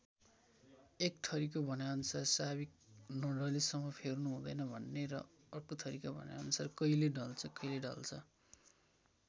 एकथरीको भनाइअनुसार साविक नढलेसम्म फेर्नु हुँदैन भन्ने र अर्कोथरीका भनाइअनुसार कहिले ढल्छ कहिले ढल्छ।